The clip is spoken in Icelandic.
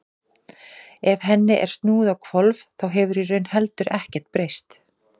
ef henni er snúið á hvolf þá hefur í raun heldur ekkert breyst